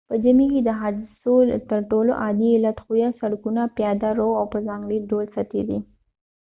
په ژمي کې د حادثو تر ټولو عادي علت ښویه سړکونه پیاده رو او په ځانګړي ډول سطحې دي